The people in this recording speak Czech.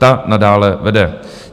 Ta nadále vede.